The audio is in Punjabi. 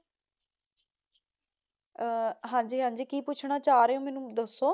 ਅਹ ਹਾਂਜੀ ਹਾਂਜੀ, ਕੀ ਪੁੱਛਣਾ ਚਾਹ ਰਹੇ ਓ, ਮੈਨੂੰ ਦੱਸੋ?